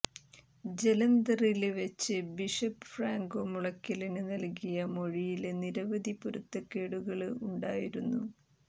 ജലന്ധറില് വെച്ച് bishop Franco Mulakkal നല്കിയ മൊഴില് നിരവധി പൊരുത്തക്കേടുകള് ഉണ്ടായിരുന്നു